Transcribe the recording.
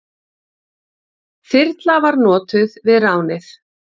Þyrla var notuð við ránið.